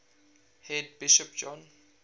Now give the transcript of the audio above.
head bishop john